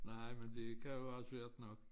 Nej men det kan jo være svært nok